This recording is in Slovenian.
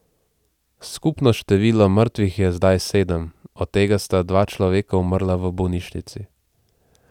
Skupno število mrtvih je zdaj sedem, od tega sta dva človeka umrla v bolnišnici.